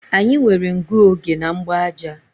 Anyị nwere ngụoge na mgbaaja